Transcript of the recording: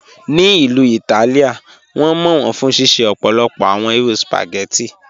Ní Ilú Ítálìá, wọn mọ wọn fún ṣíṣẹ̀ ọ̀pọ̀lọpọ̀ awọn irú spaghetti.